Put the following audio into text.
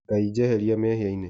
Ngai jeheria mehĩaĩnĩ